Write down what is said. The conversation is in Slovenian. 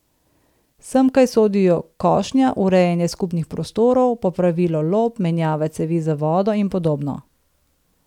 Semkaj sodijo košnja, urejanje skupnih prostorov, popravilo lop, menjava cevi za vodo in podobno.